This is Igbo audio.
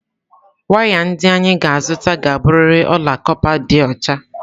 Waya ndị anyị ga-azụta ga-abụrịrị ọla kọpa dị ọcha